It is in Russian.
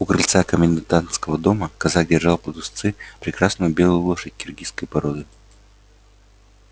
у крыльца комендантского дома казак держал под уздцы прекрасную белую лошадь киргизской породы